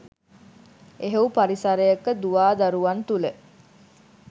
එහෙව් පරිසරයක දුවා දරුවන් තුළ